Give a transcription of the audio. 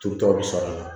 To tɔ bɛ sara